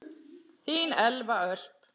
Þín Elva Ösp.